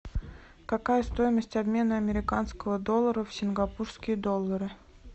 какая стоимость обмена американского доллара в сингапурские доллары